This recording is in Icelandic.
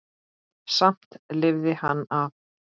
Samt lifði hann af.